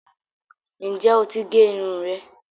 Ǹjẹ́ oti gé irun rẹ?